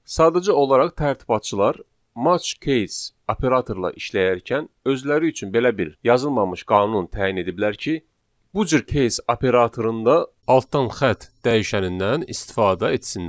Sadəcə olaraq tərtibatçılar match case operatorla işləyərkən özləri üçün belə bir yazılmamış qanun təyin ediblər ki, bu cür case operatorunda altdan xətt dəyişənindən istifadə etsinlər.